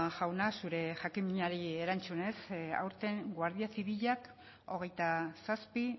jauna zure jakinminari erantzunez aurten guardia zibilak hogeita zazpi